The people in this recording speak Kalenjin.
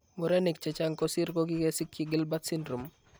Murenik chechang' kosir kokikesikyi Gilbert syndrome